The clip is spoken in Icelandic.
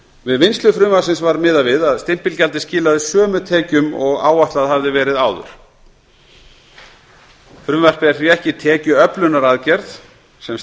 við vinnslu frumvarpsins var miðað við að stimpilgjaldið skilaði sömu tekjum og áætlað hafði verið áður frumvarpið er því ekki tekjuöflunaraðgerð sem